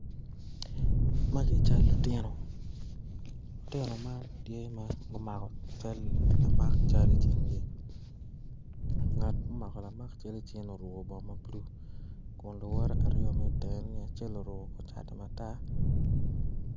Magi ca lutino lutino man tye ma gumako cal lamak cal i cingi ngat ma omako lam cal i cinge-ni oruku kor bongo ma bulu kun luwotte aryo mi itenge me acel oruku kor cati matar